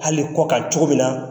Hali kɔkan cogo min na.